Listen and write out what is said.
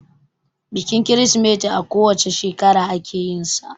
Bikin Kirsimeti a ko wane shekara ake yinsa